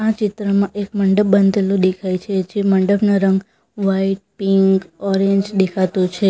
ચિત્રમાં એક મંડપ બાંધેલું દેખાય છે જે મંડપનો રંગ વ્હાઇટ પિંક ઓરેન્જ દેખાતો છે.